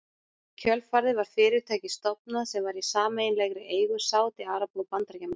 Í kjölfarið var fyrirtæki stofnað sem var í sameiginlegri eigu Sádi-Araba og Bandaríkjamanna.